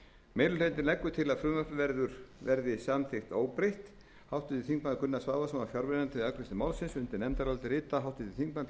meiri hlutinn leggur til að frumvarpið verði samþykkt óbreytt háttvirtir þingmenn gunnar svavarsson var fjarverandi við afgreiðslu málsins undir nefndarálitið rita háttvirtir þingmenn pétur